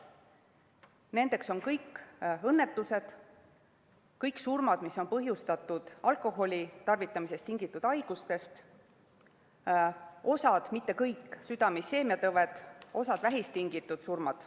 Nendeks on kõik õnnetustest põhjustatud surmad, kõik surmad, mis on põhjustatud alkoholitarvitamisest tingitud haigustest, osa, mitte kõik, südame isheemiatõvest, osa vähist tingitud surmad.